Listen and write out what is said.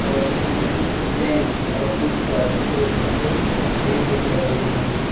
और इसमें कुछ पेन और चाबी के गुच्छे भी दिख रहे हैं।